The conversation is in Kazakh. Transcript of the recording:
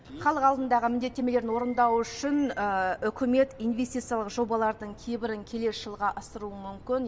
халық алдындағы міндеттемелерін орындау үшін үкімет инвестициялық жобалардың кейбірін келесі жылға ысыруы мүмкін